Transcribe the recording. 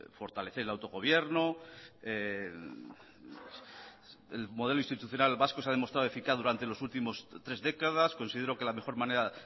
fortalecer el autogobierno el modelo institucional vasco se ha demostrado eficaz durante las últimas tres décadas considero que la mejor manera